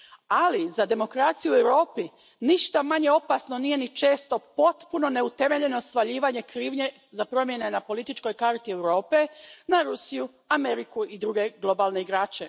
Ali, za demokraciju u Europi ništa manje opasno nije ni često potpuno neutemeljeno svaljivanje krivnje za promjene na političkoj karti Europe na Rusiju, Ameriku i druge globalne igrače.